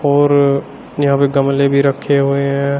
और यहाँ पे गमले भी रखे हुए हैं।